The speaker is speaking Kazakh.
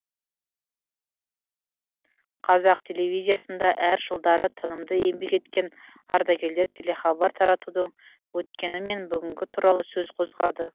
қазақ телевизиясында әр жылдары тынымды еңбек еткен ардагерлер телехабар таратудың өткені мен бүгіні туралы сөз қозғады